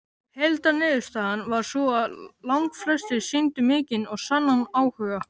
Heildarniðurstaðan var sú að langflestir sýndu mikinn og sannan áhuga.